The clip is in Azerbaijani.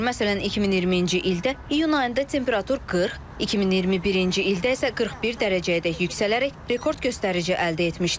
Məsələn, 2020-ci ildə iyun ayında temperatur 40, 2021-ci ildə isə 41 dərəcəyədək yüksələrək rekord göstərici əldə etmişdi.